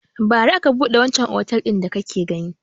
Bara aka buɗe wancan otel din da kake gani.